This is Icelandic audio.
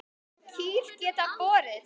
Kýr geta borið